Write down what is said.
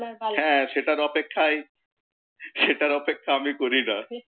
হ্যাঁ সেটার অপেক্ষাই, সেটার অপেক্ষা আমি করি না।